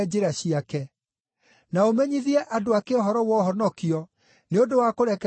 na ũmenyithie andũ ake ũhoro wa ũhonokio nĩ ũndũ wa kũrekerwo mehia mao,